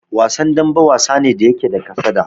Wasan dambe, wasa ne da yake da kasada.